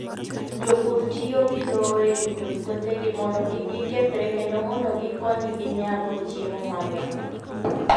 Jopur tiyo gi lowo e rito puothegi mondo kik gikethre kendo mondo gikonygi nyago chiemo mang'eny.